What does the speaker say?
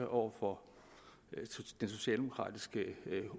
over for den socialdemokratiske